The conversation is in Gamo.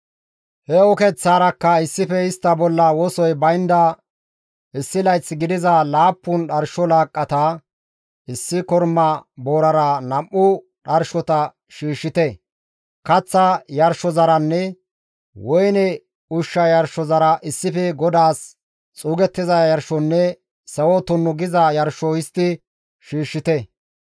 He ukeththaarakka issife istta bolla wosoy baynda issi layth gidiza laappun dharsho laaqqata issi korma boorara nam7u dharshota shiishshite; kaththa yarshozaranne woyne ushsha yarshozara issife GODAAS xuugettiza yarshonne sawo tunnu giza yarsho histti shiishshite.